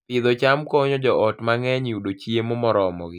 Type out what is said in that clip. Pidho cham konyo joot mang'eny yudo chiemo moromogi